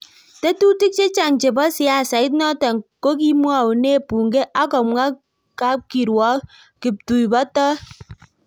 Tetutik che chang' chebo siasait notok kokokimwaune bunge ak komwa kapkiruok kiptuibotoi.